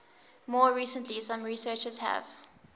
more recently some researchers have